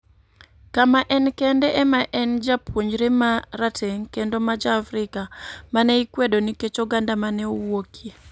kama en kende ema ne en japuonjre ma rateng ' kendo ma Ja - Afrika ma ne ikwedo nikech oganda ma ne owuokie.